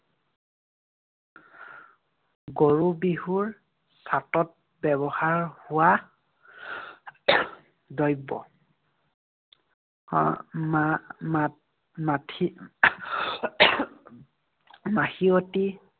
গৰু বিহুৰ ঘাটত ব্যৱহাৰ হোৱা দ্ৰব্য। আহ মা~ মাটি~ মাখি মাখিয়তী।